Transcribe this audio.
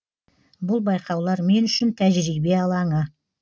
бұл байқаулар мен үшін тәжірибе алаңы